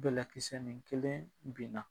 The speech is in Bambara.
Bɛlɛkisɛ ni kelen binna